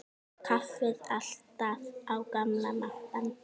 Kaffið alltaf á gamla mátann.